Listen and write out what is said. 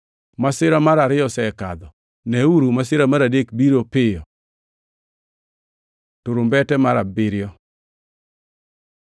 Masira mar ariyo osekadho, neuru, masirano mar adek biro biro piyo. Turumbete mar abiriyo